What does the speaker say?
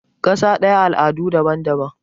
kasa daya al'adu daban-daban